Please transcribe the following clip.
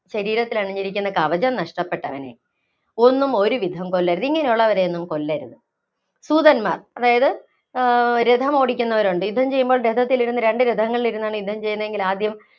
ശരീരത്തിലണിഞ്ഞിരിക്കുന്ന കവചം നഷ്ടപ്പെട്ടവനെ, ഒന്നും ഒരുവിധം കൊല്ലരുത്, ഇങ്ങനെയുള്ളവരെയൊന്നും കൊല്ലരുത്. സൂതന്‍മാര്‍ അതായത് ആഹ് രഥമോടിക്കുന്നവരുണ്ട്. യുദ്ധം ചെയ്യുമ്പോള്‍ രഥത്തിലിരുന്ന് രണ്ട് രഥങ്ങളിലിരുന്നാണ് യുദ്ധം ചെയ്യുന്നതെങ്കില്‍ ആദ്യം